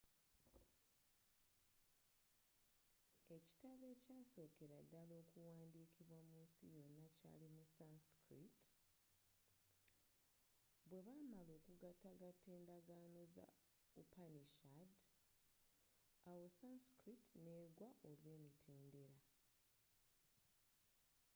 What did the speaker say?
ekitabo ekyasookera ddala okuwandiikibwa munsi yonna kyali mu sanskrit bwebaamala okugatagata endagaano za upanishad awo sanskrit n'eggwa olw'emitendera